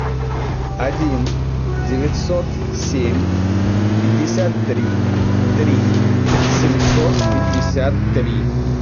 один девятьсот семь пятьдесят три три семьсот пятьдесят три